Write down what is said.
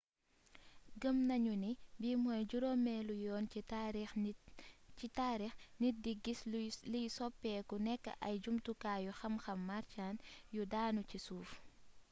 gëmm nañu ni bii mooy juroomélu yoon ci taarix nit di giss liy soppeeku nekk ay jumtukaayu xamxam martian yu daanu ci suuf